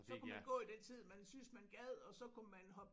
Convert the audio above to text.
Så kunne man gå i den tid man syntes man gad og så kunne man hoppe